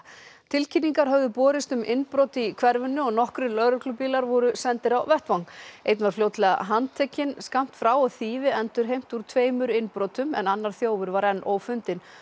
tilkynningar höfðu borist um innbrot í hverfinu og nokkrir lögreglubílar voru sendir á vettvang einn var fljótlega handtekinn skammt frá og þýfi endurheimt úr tveimur innbrotum en annar þjófur var enn ófundinn